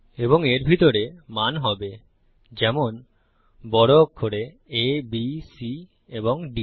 এবং এর ভিতরে মান হবে যেমন বড় অক্ষরে আ বি C এবং ডি